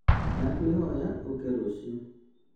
Ndakwĩhoya ũke rũciũ